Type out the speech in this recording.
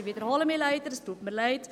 Ich wiederhole mich, es tut mir leid.